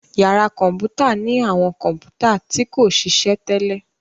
Yàrá kọ̀mpútà ní àwọn kọ̀mpútà tí kòṣiṣẹ́ tẹ́lẹ̀.